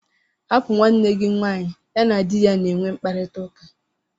Hapụ nwanne gị nwanyị, ya na di ya na-enwe mkparịtaụka!!